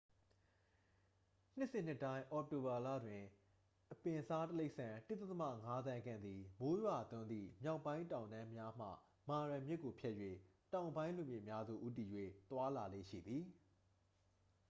နှစ်စဉ်နှစ်တိုင်း အောက်တိုဘာလတွင် အပင်းစားတိရစ္ဆာန် 1.5 သန်းခန့်သည် မိုးရွာသွန်းသည့် မြောက်ပိုင်းတောင်တန်းများမှ မာရာ မြစ်ကိုဖြတ်၍ တောင်ပိုင်းလွင်ပြင်များသို့ ဦးတည်၍ သွားလေ့ရှိသည်